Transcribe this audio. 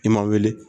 I ma wuli